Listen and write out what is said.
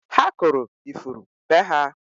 Ha kụrụ ifuru be ha